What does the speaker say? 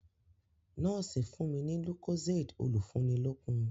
Nọ́ọ̀sì fún mi ní lucozade olùfúnilókun.